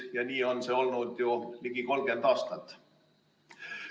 Ja nii on see olnud ju ligi 30 aastat.